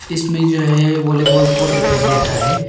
इसमें में जो है वॉलीबॉल कोर्ट दिखाई दे रहा है।